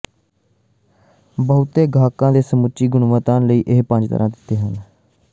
ਬਹੁਤੇ ਗਾਹਕਾਂ ਨੇ ਸਮੁੱਚੇ ਗੁਣਵੱਤਾ ਲਈ ਇਹ ਪੰਜ ਤਾਰਾ ਦਿੱਤੇ ਹਨ